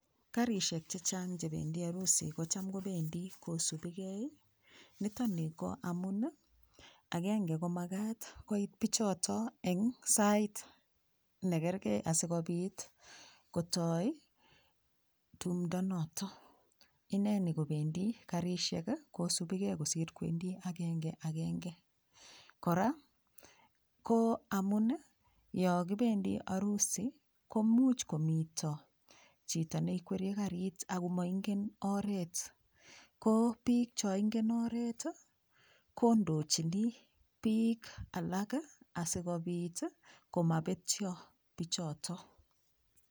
Karishek chechang chebendi arusi kocham kobendi kosubikei nitoni ko amun agenge komakat koit pichoto eng sait negergei asikobit kotoi tumdo noto ineni kobendi Karishek kosubikei kosir kowendi agengeagenge kora ko amun yo kobendi arusi ko much komito chito neikweryei karit ako moingen oret ko piik cho ingen oret kondochini piik alak asikobit komapetcho pichoto